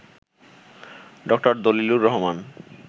ড. দলিলুর রহমান